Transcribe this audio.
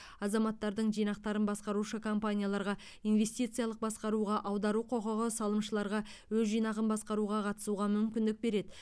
азаматтардың жинақтарын басқарушы компанияларға инвестициялық басқаруға аудару құқығы салымшыларға өз жинағын басқаруға қатысуға мүмкіндік береді